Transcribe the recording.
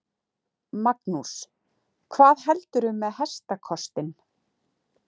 Magnús: Hvað heldurðu með hestakostinn?